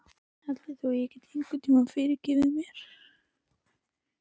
Heldurðu að þú getir einhvern tíma fyrirgefið mér?